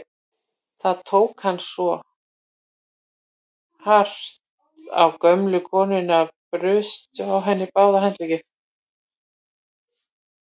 Þá tók hann svo hart á gömlu konunni að brustu á henni báðir handleggir.